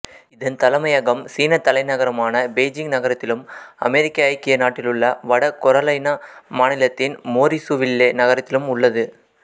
இதன் தலைமையகம் சீனத்தலைநகரான பெய்ஜிங் நகரத்திலும் அமெரிக்க ஐக்கிய நாட்டிலுள்ள வட கரொலைனா மாநிலத்தின் மோரிசுவில்லே நகரத்திலும் உள்ளது